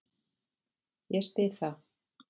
Ég styð það.